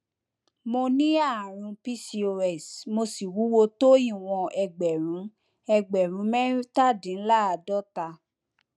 mo ní ààrùn pcos mo sì wúwo tó ìwọn ẹgbẹrún ẹgbẹrún mẹtàdínláàádọta